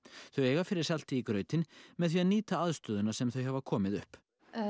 þau eiga fyrir salti í grautinn með því að nýta aðstöðuna sem þau hafa komið upp